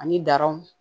Ani daraw